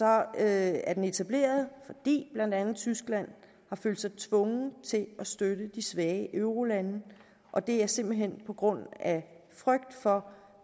er etableret fordi blandt andet tyskland har følt sig tvunget til at støtte de svage eurolande og det er simpelt hen på grund af frygt for